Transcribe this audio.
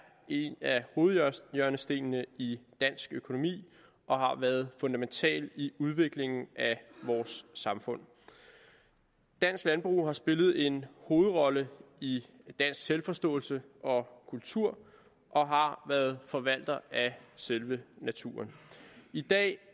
en af hovedhjørnestenene i dansk økonomi og har været fundamental i udviklingen af vores samfund dansk landbrug har spillet en hovedrolle i dansk selvforståelse og kultur og har været forvalter af selve naturen i dag